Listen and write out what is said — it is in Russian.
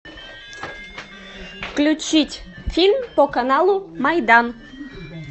включить фильм по каналу майдан